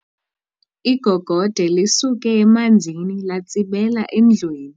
Igogode lisuke emanzini latsibela endlwini.